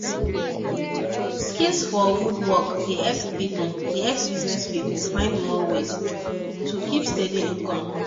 skill for wood work dey help business people find more way to make steady income